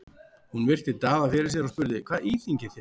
Hún virti Daða fyrir sér og spurði:-Hvað íþyngir þér?